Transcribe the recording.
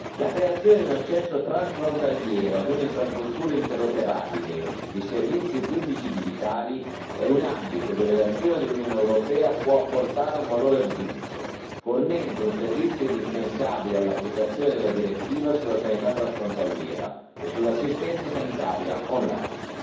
La creazione di un accesso transfrontaliero a un'infrastruttura interoperabile di servizi pubblici digitali è un ambito dove l'azione dell'Unione europea può apportare un valore aggiunto, fornendo un servizio indispensabile all'applicazione della direttiva sulla sanità transfrontaliera e sull'assistenza sanitaria online.